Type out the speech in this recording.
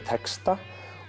texta